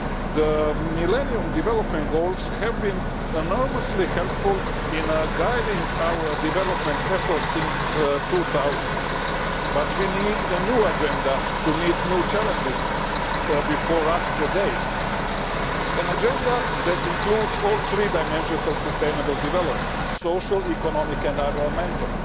The Millennium Development Goals have been enormously helpful in guiding our development efforts since 2000, but we need a new agenda to meet the new challenges before us today an agenda that includes all three dimensions of sustainable development social, economic and environmental